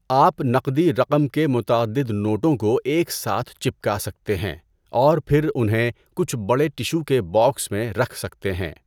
آپ نقدی رقم کے متعدد نوٹوں کو ایک ساتھ چپکا سکتے ہیں اور پھر انہیں کچھ بڑے ٹشوکے باکس میں رکھ سکتے ہیں۔